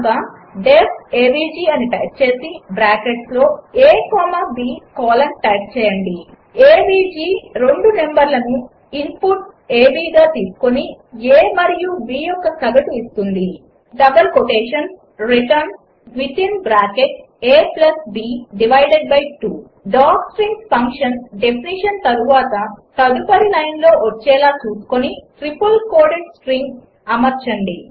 కనుక DEF AVG అని type చేసి బ్రాకెట్స్లో a comma b colon type చేయండి ఏవీజీ రెండు నంబర్లను ఇంపుట్ గా తీసుకుని a మరియు b యొక్క సగటు ఇస్తుంది return within bracket ab divided by 2 docstrings function definition తర్వాత తదుపరి లైనులో వచ్చేలా చూసుకుని ట్రిపుల్ కోటెడ్ స్ట్రింగ్గా అమర్చండి